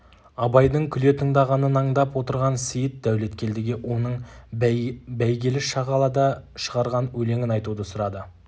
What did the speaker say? абайдың күле тыңдағанын аңдап отырған сейіт дәулеткелдіге оның бәйгелі-шағалада шығарған өлеңін айтуды сұрады